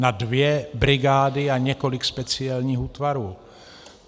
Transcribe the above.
Na dvě brigády a několik speciálních útvarů.